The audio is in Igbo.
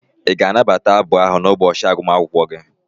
Ị ga-anabata abụ ahụ n'ụbọchị agbamakwụkwọ gị?